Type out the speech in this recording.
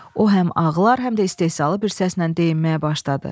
O həm ağlar, həm də istehzalı bir səslə deyinməyə başladı.